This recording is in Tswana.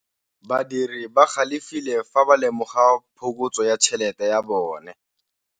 Badiri ba galefile fa ba lemoga phokotsô ya tšhelête ya bone.